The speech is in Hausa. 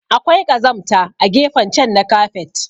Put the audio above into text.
Akwai kazamta a gefen chan na kafet.